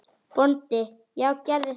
BÓNDI: Já, gerið það.